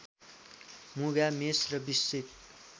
मुगा मेष र वृश्चिक